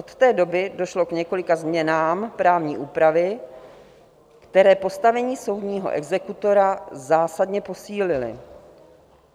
Od té doby došlo k několika změnám právní úpravy, které postavení soudního exekutora zásadně posílily.